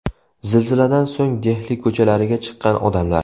Zilziladan so‘ng Dehli ko‘chalariga chiqqan odamlar.